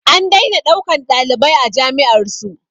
An daina ɗaukan ɗalibai a jami'ar su